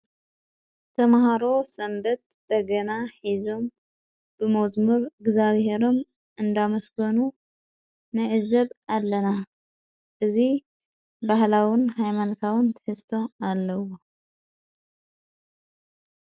ተመሃሮ ሰንበት በገና ሕዞም ብሞዝሙር እግዚኣብሔሮም እንዳመስጐኑ ነእዘብ ኣለና እዙይ ባህላውን ሃይማንካውን ተሕዝቶ ኣለዎ::